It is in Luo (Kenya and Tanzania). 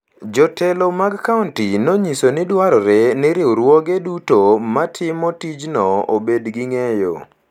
Jotelo mag kaonti nonyiso ni dwarore ni riwruoge duto matimo tijno obed gi ng’eyo